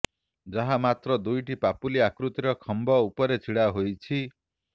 ଯାହା ମାତ୍ର ଦୁଇଟି ପାପୁଲି ଆକୃତିର ଖମ୍ବ ଉପରେ ଛିଡା ହୋଇଛି